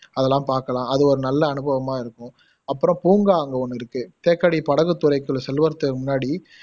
அதெல்லாம் பாக்கலாம் அது ஒரு நல்ல அனுபவமா இருக்கும் அப்பறம் பூங்கா அங்க ஒன்னு இருக்கு தேக்கடி படகுத்துறைக்கு செல்லுறதுக்கு முன்னாடி